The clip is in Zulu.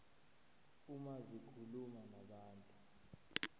uma zikhuluma nabantu